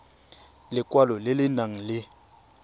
lekwalo le le nang le